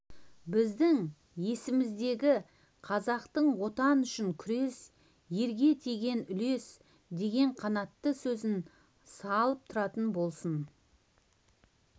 біздің есімізге қазақтың отан үшін күрес ерге тиген үлес деген қанатты сөзін салып тұратын болсын